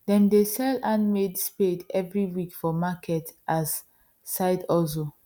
them dey sell handmade spade every week for market as side hustle